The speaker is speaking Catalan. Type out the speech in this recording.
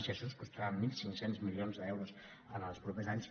i això ens costarà mil cinc cents milions d’euros en els propers anys